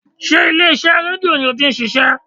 Sé ilé iṣẹ́ rédíò ni o ti n ṣiṣé?